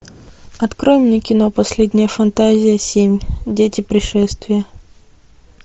открой мне кино последняя фантазия семь дети пришествия